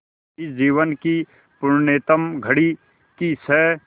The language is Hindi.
इस जीवन की पुण्यतम घड़ी की स्